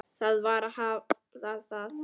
Það varð að hafa það.